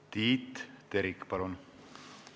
Tiit Terik, palun!